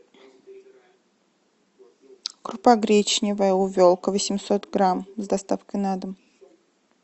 крупа гречневая увелка восемьсот грамм с доставкой на дом